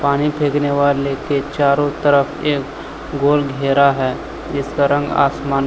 पानी फेंकने वाले के चारों तरफ एक गोल घेरा है जिसका रंग आसमानी--